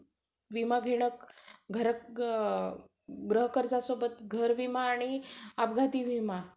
your call has been recorded असा english मध्ये सांगते तो. ठीक है. तर samsung मध्ये autocallrecording चा option असता आपला कडे. माझे features वेग वेगळे आहे दोन्ही